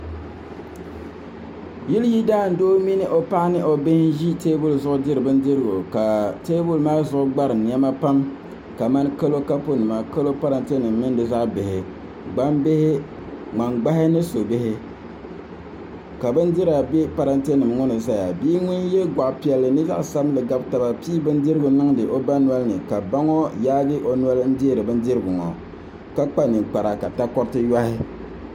Yili yidaan doo mini o paɣaba ni o bihi n ʒi teebuli gbuni ka teebuli maa zuɣu gbarim niɛma pam kamani kalo kapu nima kalo pileeti nima gbambihi ŋmani gbahi ni su bihi ka bindira bɛ pileeti nim ŋo ni ʒɛya bia ŋun yɛ goɣa piɛlli ni goɣa sabinli gabi taba pii bindirigu niŋdi o ba ŋo nolini ka ba ŋo yaagi o noli deeri bindirigu ŋo ka kpa ninkpara ka takoritu yohi